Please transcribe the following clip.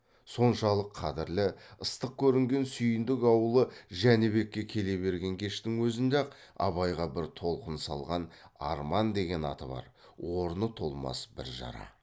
соншалық қадірлі ыстық көрінген сүйіндік аулы жәнібекке келе берген кештің өзінде ақ абайға бір толқын салған арман деген аты бар орны толмас бір жара